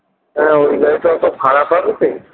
আহ ওই গাড়িটা অত ভাড়া খাবে কি?